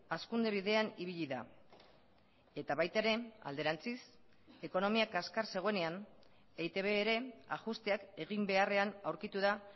hazkunde bidean ibili da eta baita ere alderantziz ekonomia kaskar zegoenean eitb ere ajusteak egin beharrean aurkitu da